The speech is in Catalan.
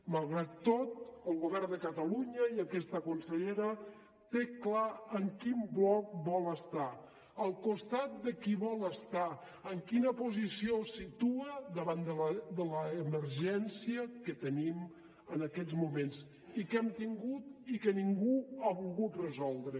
malgrat tot el govern de catalunya i aquesta consellera té clar en quin bloc vol estar al costat de qui vol estar en quina posició es situa davant de l’emergència que tenim en aquests moments i que hem tingut i que ningú ha volgut resoldre